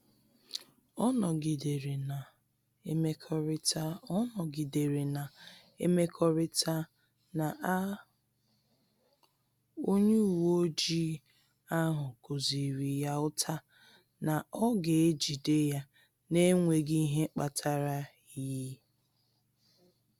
Ọ nọgidere na-emekọrịta Ọ nọgidere na-emekọrịta na a onye uweojii ahụ kụziri ya ụta na ọ ga-ejide ya n’enweghị ihe kpatara y